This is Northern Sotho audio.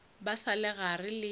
ba sa le gare le